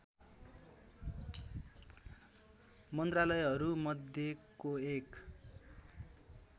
मन्त्रालयहरू मध्येको एक